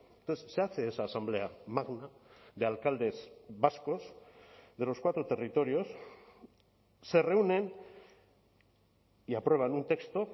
entonces se hace esa asamblea magna de alcaldes vascos de los cuatro territorios se reúnen y aprueban un texto